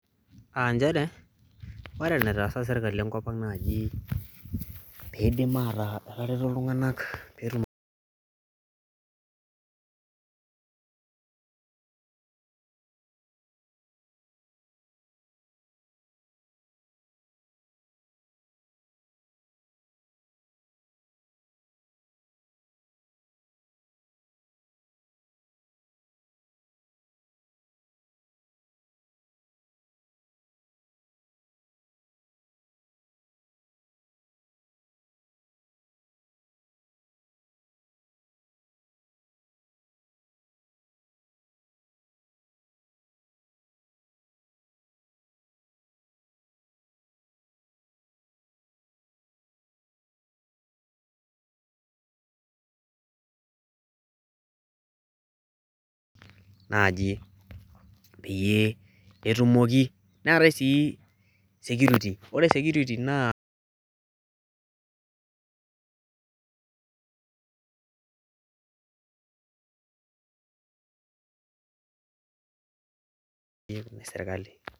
aa nchere ore enataasa serkali ekop ang naaji peidim aataa etareto iltunganak pee etum naaji peyiee etumoki ,neetae sii security ore security naa ene serkali.